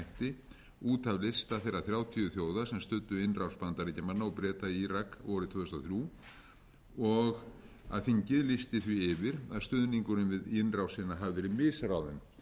hætti út af lista þeirra þrjátíu þjóða sem studdu innrás bandaríkjamanna og breta í írak vorið tvö þúsund og þrjú og að þingið lýsti því yfir að stuðningurinn við innrásina hafi verið misráðinn